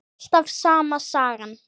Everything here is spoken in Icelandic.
Alltaf sama sagan.